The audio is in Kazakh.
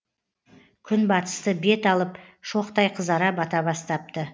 күн батысты бет алып шоқтай қызара бата бастапты